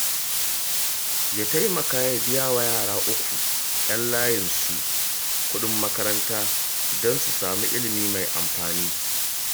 Ya taimaka ya biya wa yara uku 'yan layinsu kuɗin makaranta don su samu ilimi mai amfani